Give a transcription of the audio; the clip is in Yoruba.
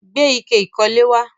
Gbé ike ìkólẹ̀ wá.